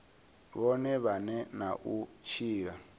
vhone vhane na u tshila